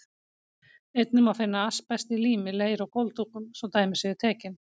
Einnig má finna asbest í lími, leir og gólfdúkum, svo dæmi séu tekin.